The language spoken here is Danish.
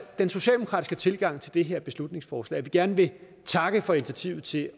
den socialdemokratiske tilgang til det her beslutningsforslag at vi gerne vil takke for initiativet til